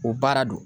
O baara don